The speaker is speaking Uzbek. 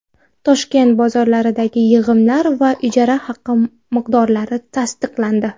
Toshkent bozorlaridagi yig‘imlar va ijara haqi miqdorlari tasdiqlandi.